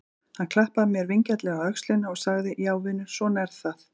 Hann klappaði mér vingjarnlega á öxlina og sagði: Já vinur, svona er það.